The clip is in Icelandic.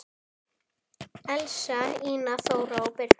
Elsa, Ína, Þóra og Birna.